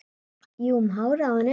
Jú, um hárið á henni!